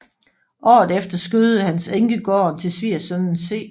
Året efter skødede hans enke gården til svigersønnen C